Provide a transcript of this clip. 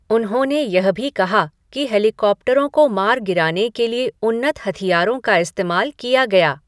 उन्होंने यह भी कहा कि हेलीकॉप्टरों को मार गिराने के लिए उन्नत हथियारों का इस्तेमाल किया गया।